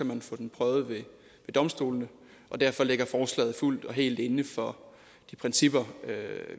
man få den prøvet ved domstolene og derfor ligger forslaget fuldt og helt inden for de principper